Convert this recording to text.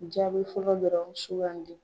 Jaabi fɔlɔ dɔrɔn sugandi.